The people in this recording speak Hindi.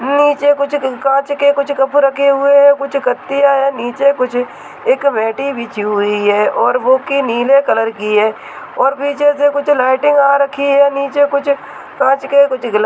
नीचे कुछ कांच के कप रखे हुए हैं कुछ कत्तियां हैं नीचे एक मेट बिछी हुयी है और वह की नीले कलर की है और नीचे से कुछ लाइटिंग आ रखी है और नीचे कुछ कांच के गलास --